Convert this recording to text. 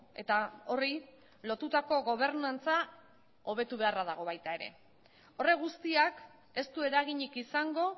eta horri lotutako gobernantza hobetu beharra dago baita ere horrek guztiak ez du eraginik izango